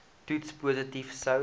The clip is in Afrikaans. toets positief sou